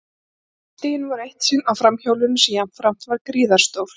Fótstigin voru eitt sinn á framhjólinu sem jafnframt var gríðarstórt.